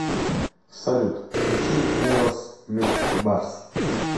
салют включи миос мит барс